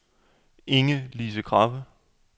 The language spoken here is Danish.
Inge-Lise Krabbe